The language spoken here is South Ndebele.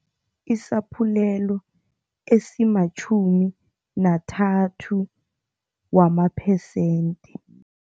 Isaphulelo esimatjhumi nathathu wama-percent.